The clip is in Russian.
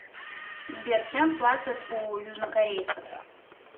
сбер чем платят у южнокорейцев